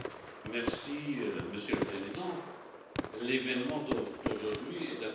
Monsieur le Président, l'événement d'aujourd'hui est un événement surprise.